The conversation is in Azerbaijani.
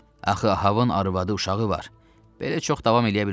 Axı Ahavın arvadı, uşağı var, belə çox davam eləyə bilməz.